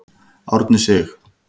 Árni Sig.